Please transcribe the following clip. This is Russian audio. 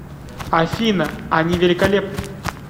афина они великолепны